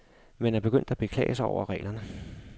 Man er begyndt at beklage sig over reglerne.